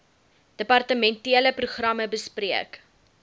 departementele programme bespreek